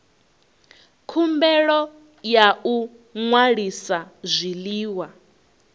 khumbelo ya u ṅwalisa zwiḽiwa